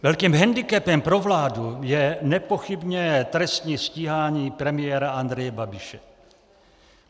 Velkým handicapem pro vládu je nepochybně trestní stíhání premiéra Andreje Babiše.